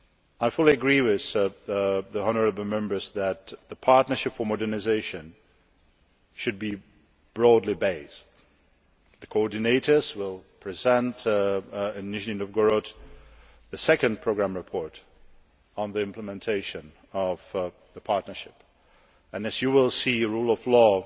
I fully agree with the honourable Members that the Partnership for Modernisation should be broadly based. The coordinators will present in Nizhny Novgorod the second programme report on the implementation of the partnership and, as you will see, the rule of law